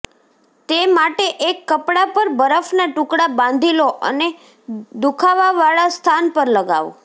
તે માટે એક કપડા પર બરફના ટુકડા બાંધી લો અને દુખાવાવાળા સ્થાન પર લગાવો